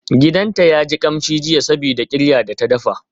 Gidanta yaji kamshi jiya sabida qira da ta dafa.